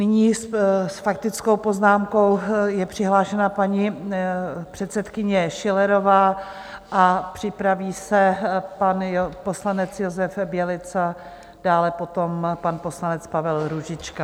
Nyní s faktickou poznámkou je přihlášena paní předsedkyně Schillerová a připraví se pan poslanec Josef Bělica, dále potom pan poslanec Pavel Růžička.